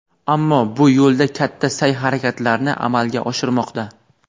ammo bu yo‘lda katta sa’y-harakatlarni amalga oshirmoqda.